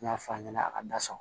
N y'a f'a ɲɛna a ka da sa